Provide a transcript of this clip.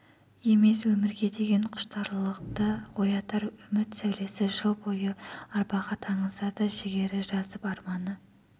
емес өмірге деген құштарлықты оятар үміт сәулесі жыл бойы арбаға таңылса да жігері жасып арманы